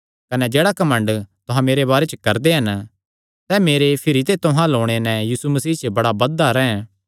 कने जेह्ड़ा घमंड तुहां मेरे बारे च करदे हन सैह़ मेरे भिरी ते तुहां अल्ल ओणे नैं यीशु मसीह च बड़ा बधदा रैंह्